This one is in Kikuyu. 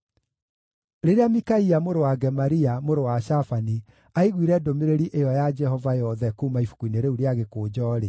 Rĩrĩa Mikaia mũrũ wa Gemaria, mũrũ wa Shafani aiguire ndũmĩrĩri ĩyo ya Jehova yothe kuuma ibuku-inĩ rĩu rĩa gĩkũnjo-rĩ,